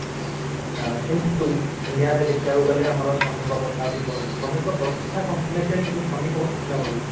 କିନ୍ତୁ india ରେ ଦେଖିବାକୁ ଗଲେ ଆମର ଶ୍ରମିକ ପ୍ରଥା ବଢାଉଚି ଶ୍ରମିକ ପ୍ରଥା କମି ଆସିଲାଣି କିନ୍ତୁ ଶ୍ରମିକ ଙ୍କ ସଂଖ୍ୟା ବଢୁଛି